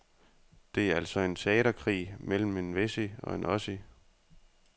Det er altså en teaterkrig mellem en wessie og en ossie.